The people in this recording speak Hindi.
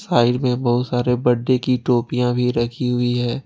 साइड में बहुत सारे बर्थडे की टोपियां भी रखी हुई हैं।